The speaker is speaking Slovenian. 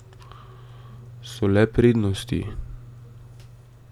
So le prednosti.